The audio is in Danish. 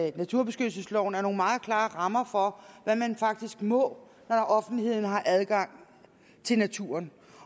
i naturbeskyttelsesloven er nogle meget klare rammer for hvad man faktisk må når offentligheden har adgang til naturen